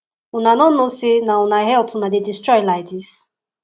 una no know say na una health una dey destroy like dis